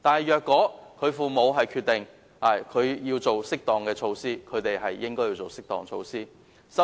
如果父母決定採取適當措施，便可採取適當措施。